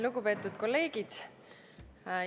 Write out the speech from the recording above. Lugupeetud kolleegid!